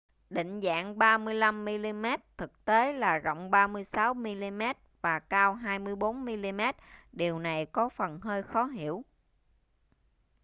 định dạng 35 mm thực tế là rộng 36 mm và cao 24 mm điều này có phần hơi khó hiểu